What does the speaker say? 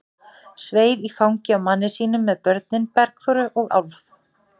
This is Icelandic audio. Sveif í fangið á manni sínum með börnin, Bergþóru og Álf.